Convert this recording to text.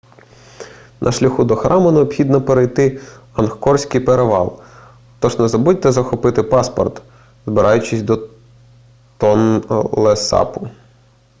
на шляху до храму необхідно перейти ангкорський перевал тож не забудьте захопити паспорт збираючись до тонлесапу